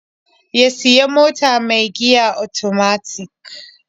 Ya sayi mota mai giya otomatik.